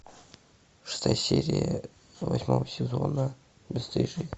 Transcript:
шестая серия восьмого сезона бесстыжие